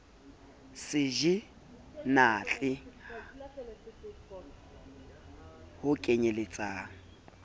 se je hnatle ho kenyeletsang